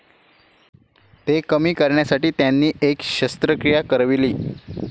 ते कमी करण्यासाठी त्यांनी एक शस्त्रक्रिया करविली.